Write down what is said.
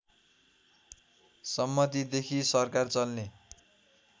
सम्मतिदेखि सरकार चल्ने